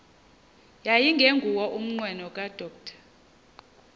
yayingenguwo umnqweno kadr